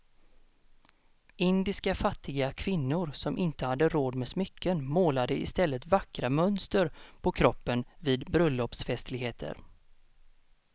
Indiska fattiga kvinnor som inte hade råd med smycken målade i stället vackra mönster på kroppen vid bröllopsfestligheter.